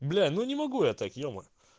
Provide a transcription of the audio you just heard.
бля ну не могу я так е-мае